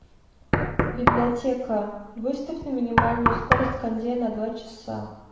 библиотека выставь на минимальную скорость кондея на два часа